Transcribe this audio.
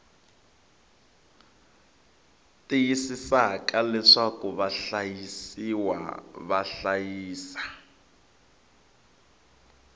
tiyisisaka leswaku vahlayisiwa va hlayisa